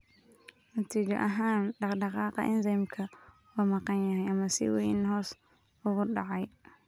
Natiijo ahaan, dhaqdhaqaaqa enzymeka waa maqan yahay ama si weyn hoos ugu dhacay.